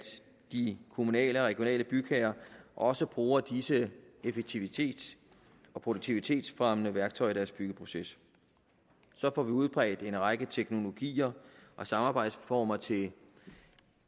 de kommunale og regionale bygherrer også bruger disse effektivitets og produktivitetsfremmende værktøjer i deres byggeproces så får vi udbredt en række teknologier og samarbejdsformer til